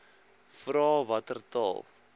vra watter taal